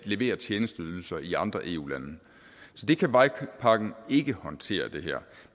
levere tjenesteydelser i andre eu lande så det kan vejpakken ikke håndtere